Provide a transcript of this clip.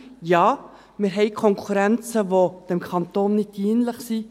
Ja, wir haben Konkurrenzen, die dem Kanton nicht dienlich sind.